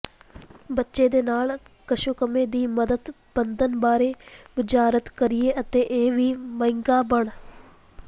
ਬੱਚੇ ਦੇ ਨਾਲ ਕੱਛੂਕੁੰਮੇ ਦੀ ਮਦਦ ਬੰਧਨ ਬਾਰੇ ਬੁਝਾਰਤ ਕਰੀਏ ਅਤੇ ਇਹ ਵੀ ਮਹਿੰਗਾ ਬਣ